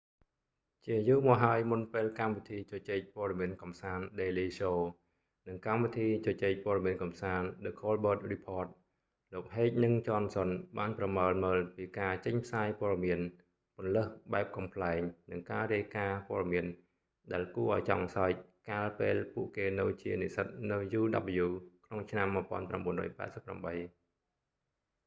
ជាយូរមកហើយមុនពេលកម្មវិធីជជែកព័ត៌មានកម្សាន្ត daily show និងកម្មវិធីជជែកព័ត៌មានកម្សាន្ត the colbert report លោកហេកនិងចនសុនបានប្រមើលមើលពីការចេញផ្សាយព័ត៌មានពន្លើសបែបកំប្លែងនិងការរាយការណ៍ព័ត៌មានដែលគួរឱ្យចង់សើចកាលពេលពួកគេនៅជានិស្សិតនៅ uw ក្នុងឆ្នាំ 1988